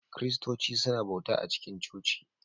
Kiristoci suna bauta a cikin coci